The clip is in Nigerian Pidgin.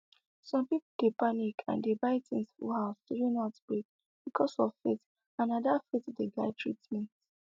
some people dey panic and dey buy things full house during outbreak because of faith and na the faith dey guide treatment